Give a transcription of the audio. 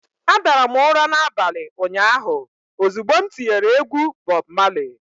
Adara m ụra n'abalị ụnyaahụ ozugbo m tinyere egwu Bob Marley.